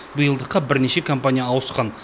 биылдыққа бірнеше компания ауысқан